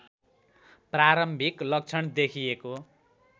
प्रारम्भिक लक्षण देखिएको